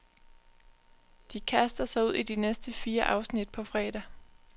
De kaster sig ud i de næste fire afsnit på fredag.